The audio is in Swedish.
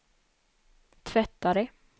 tvättare